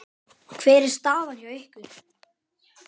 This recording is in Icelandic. Hvernig er staðan hjá ykkur?